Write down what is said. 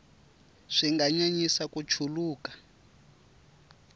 swi nga nyanyisa ku chuluka